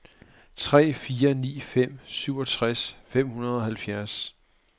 tre fire ni fem syvogtres fem hundrede og halvfjerds